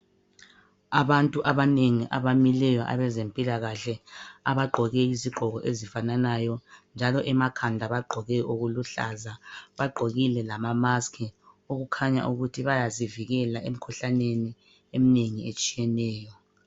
Abantu abanengi abamileyo abezempilakahle abagqoke izigqoko ezifananayo, njalo emakhanda bagqoke okuluhlaza. Bagqokile lama maski okukhanya ukuthi bayazivikela emikhuhlaneni eminengi etshiyeneyo.